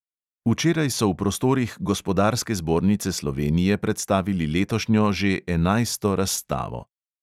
Včeraj so v prostorih gospodarske zbornice slovenije predstavili letošnjo, že enajsto razstavo.